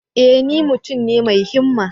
E! ni mutum ne mai himma.